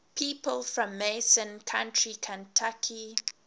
people from mason county kentucky